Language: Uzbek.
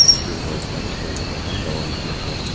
Tergov ishlari hozirda ham davom etmoqda.